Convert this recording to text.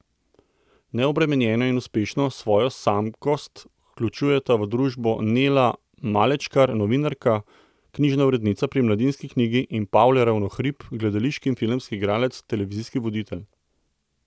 Neobremenjeno in uspešno svojo samskost vključujeta v družbo Nela Malečkar, novinarka, knjižna urednica pri Mladinski knjigi, in Pavle Ravnohrib, gledališki in filmski igralec, televizijski voditelj.